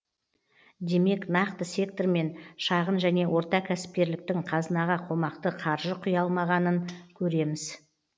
демек нақты сектор мен шағын және орта кәсіпкерліктің қазынаға қомақты қаржы құя алмағанын көреміз